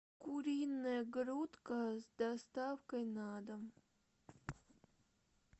куриная грудка с доставкой на дом